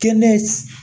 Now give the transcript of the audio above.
Kɛnɛ